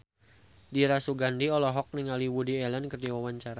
Dira Sugandi olohok ningali Woody Allen keur diwawancara